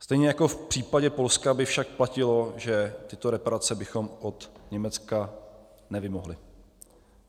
Stejně jako v případě Polska by však platilo, že tyto reparace bychom od Německa nevymohli.